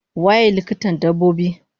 Waye likitan dabbobi?